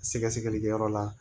Sɛgɛsɛgɛlikɛyɔrɔ la